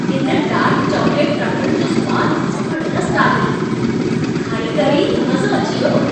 इन dark chocolate truffle जो सवादु ज़बरदस्त आहे। खाए करे ई मज़ो अची वियो।